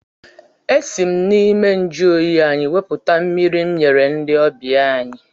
Esi m n'ime njụoyi anyị wepụta mmiri m nyere ndị ọbịa anyị.